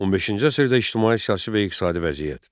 15-ci əsrdə ictimai-siyasi və iqtisadi vəziyyət.